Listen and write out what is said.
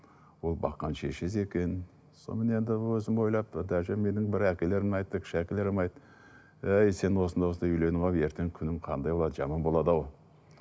ол баққан шешесі екен сонымен енді өзім ойлап даже менің бір әкелерім айтты кіші әкелерім айтты әй сен осындай осындай үйленіп алып ертең күнің қандай болады жаман болады ау